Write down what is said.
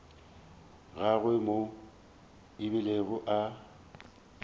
gagwe moo a bilego a